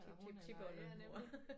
Tiptiptipoldemor